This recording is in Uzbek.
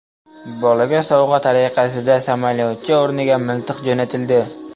Bolaga sovg‘a tariqasida samolyotcha o‘rniga miltiq jo‘natildi.